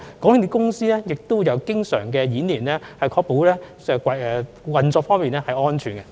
港鐵公司亦經常進行日常演練，確保運作安全。